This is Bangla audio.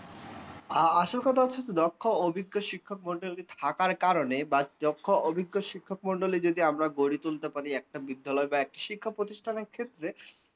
আসল কথা হচ্ছে যে দক্ষ অভিজ্ঞ শিক্ষক মন্ডলী থাকার কারণে বা দক্ষ অভিজ্ঞ শিক্ষক মন্ডলী যদি আমরা গড়ে তুলতে পারি একটা বিদ্যালয় বা এক শিক্ষা প্রতিষ্ঠানের ক্ষেত্রে